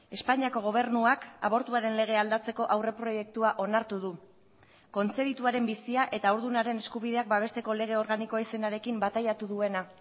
espainiako gobernuak abortuaren legea aldatzeko aurreproiektua onartu du kontzebituaren bizia eta haurdunaren eskubideak babesteko lege organikoa izenarekin bataiatu duena